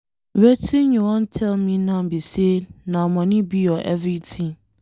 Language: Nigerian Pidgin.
Wetin you wan tell me now be say na money be your everything.